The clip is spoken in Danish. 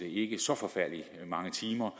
ikke så forfærdelig mange timer